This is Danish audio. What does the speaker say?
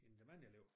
End dem andre elever